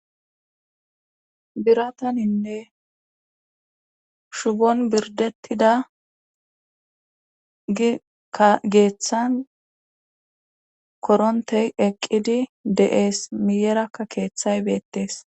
Birataninne shubon birdettida geeththan korontey eqqidi de7ees miyerakka keeththay beettes.